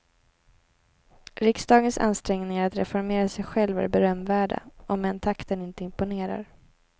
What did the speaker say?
Riksdagens ansträngningar att reformera sig själv är berömvärda, om än takten inte imponerar.